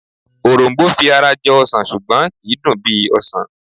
Òrom̀bó fi ara jọ ọsàn ṣùgbọ́n kì í dùn bí ọsàn